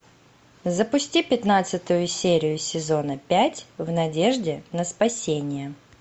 запусти пятнадцатую серию сезона пять в надежде на спасение